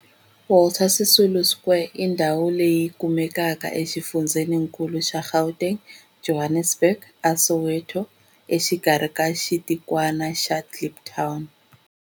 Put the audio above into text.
Walter Sisulu Square i ndhawu leyi kumekaka exifundzheninkulu xa Gauteng, Johannesburg, a Soweto, exikarhi ka xitikwana xa Kliptown.